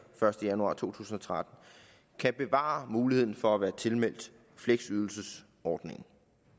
første januar to tusind og tretten kan bevare muligheden for at være tilmeldt fleksydelsesordningen